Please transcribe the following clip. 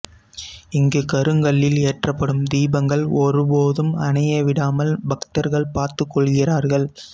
இங்கு கருங்கல்லில் ஏற்றப்படும் தீபங்கள் ஒருபோதும் அணைய விடாமல் பக்தர்கள் பார்த்துக் கொள்கிறார்கள்